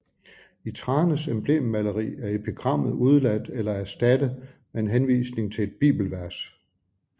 I Thranes emblemmaleri er epigrammet udeladt eller erstattet med en henvisning til et bibelvers